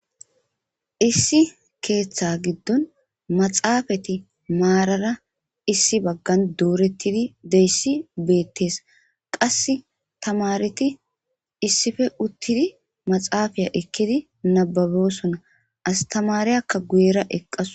Issi ketha gidon maxafet marara doretid dizays betes. Qas tamareti issippe utid maxafiya ekid nababiyisona , astmariyaka guyeraka eqawus.